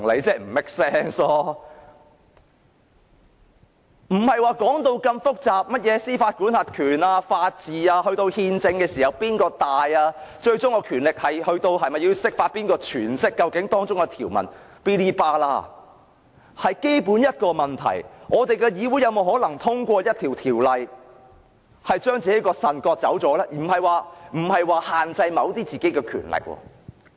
不要說到這麼複雜，甚麼司法管轄權、法治、憲制、最終權力、是否要釋法、誰詮釋條文等，只要問一個基本問題：我們的議會有否可能通過一項法案，將自己的腎臟割走呢？不僅是限制本身某些權力。